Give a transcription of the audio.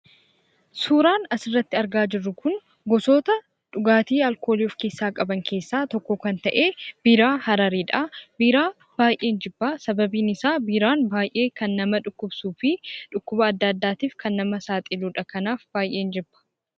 Suuraan as irratti argaa jirru kun gosoota dhugaatii alkoolii of keessaa qaban keessaa tokko kan ta'e biiraa Hararidha. Biiraa baay'een jibba sababbiin isaa biiraan kan nama dhukkubsuufi dhukkuba adda addaf kan nama saaxiludha. Kanaaf baay'een jibba.